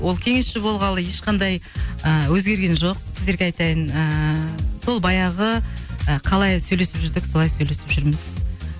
ол кеңесші болғалы ешқандай ы өзгерген жоқ сіздерге айтайын ыыы сол баяғы ы қалай сөйлесіп жүрдік солай сөйлесіп жүрміз